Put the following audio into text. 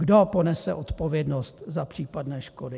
Kdo ponese odpovědnost za případné škody?